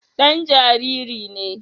Dan jariri ne